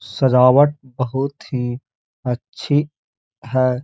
सजावट बहोत ही अच्छी है।